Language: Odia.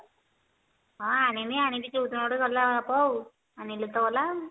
ହଁ ଆଣିନି ଆଣିବି ଯୋଉ ଦିନ ଗୋଟେ ଗଲେ ହେବ ଆଉ ଆଣିଲେ ତ ଗଲା ଆଉ